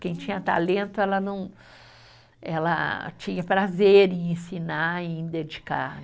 Quem tinha talento, ela não, ela tinha prazer em ensinar e em dedicar.